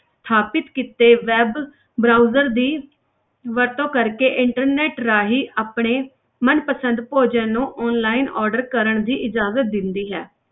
ਸਥਾਪਿਤ ਕੀਤੇ web browser ਦੀ ਵਰਤੋਂ ਕਰਕੇ internet ਰਾਹੀਂ ਆਪਣੇ ਮਨਪਸੰਦ ਭੋਜਨ ਨੂੰ online order ਕਰਨ ਦੀ ਇਜਾਜ਼ਤ ਦਿੰਦੀ ਹੈ।